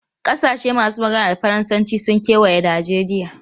Kasashe masu magana da Faransanci sun kewaye Najeriya.